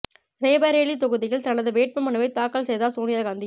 ரேபரேலி தொகுதியில் தனது வேட்பு மனுவை தாக்கல் செய்தார் சோனியா காந்தி